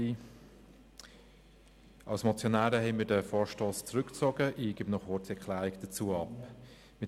Als Motionäre haben wir diesen Vorstoss zurückgezogen, und ich gebe dazu eine kurze Erklärung ab.